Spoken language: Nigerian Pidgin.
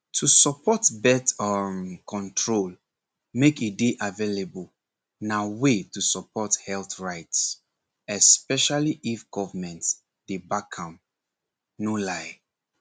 to support birth um control make e dey available na way to support health rights especially if government dey back am no lie